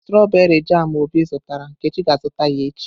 Stroberii jamu obi zụtara, Nkechi ga-azụta ya echi.